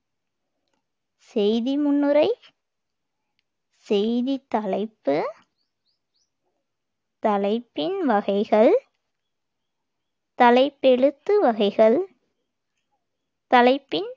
செய்தி முன்னுரை, செய்தித் தலைப்பு, தலைப்பின் வகைகள், தலைப்பெழுத்து வகைகள், தலைப்பின்